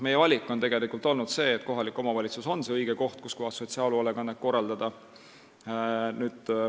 Meie valik on olnud see, et kohalik omavalitsus on see õige koht, kus sotsiaalhoolekannet korraldada.